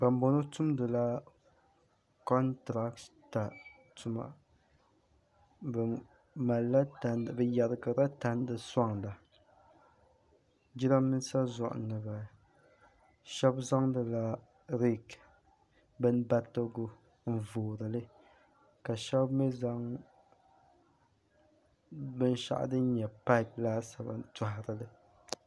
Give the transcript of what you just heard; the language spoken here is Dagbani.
bambɔŋɔ tumdila kɔntirata tuma bɛ yɛrigirila tandi sɔŋda jirambiisa zuɣu ni m-bala shɛba zaŋdila reeki bimbaritigu n-voori li ka shɛba mi zaŋ binshɛɣu din nyɛ paapu laasabu n-tɔhigi li